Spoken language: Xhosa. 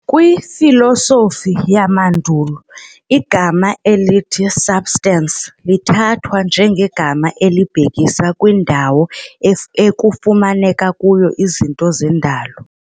KwiFilosofi yamandulo, igama elithi substance lithathwa njengegama elibhekisa kwindawo ekufumaneka kuyo izinto zendalo,